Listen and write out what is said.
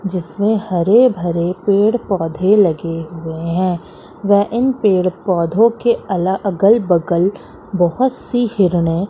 जिसमें हरे भरे पेड़ पौधे लगे हुए हैं वह इन पेड़ पौधों अल अलग अलग बगल बहोत सी हिरणे--